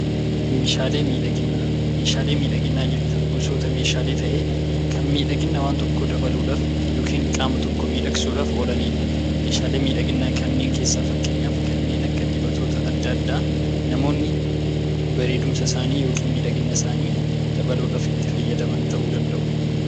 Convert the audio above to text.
Meeshaalee miidhaginaa. Meeshaalee miidhaginaa jechuun gosoota meeshaalee ta'ee kan miidhagina waan tokko dabaluudhaaf yookiin qaama tokko miidha gsuudhaaf oolaniidha. Meeshaalee miidhaginaa kanneen keessa fakkeenyaaf kanneen akka dibatoota adda addaa namoonni bareedumsa isaanii yookiin miidhagumsa isaanii dabaluudhaaf itti fayyadaman ta'uu danda'u.